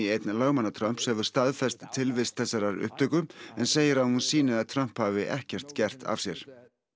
einn lögmanna Trumps hefur staðfest tilvist þessarar upptöku en segir að hún sýni að Trump hafi ekkert gert af sér